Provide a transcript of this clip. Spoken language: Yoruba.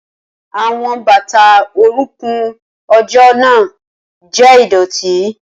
Awọn bata orunkun ojo naa jẹ idọti.